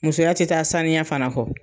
Musoya tɛ taa saniya fana kɔ.